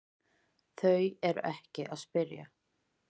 Þau eru ekkert að spyrja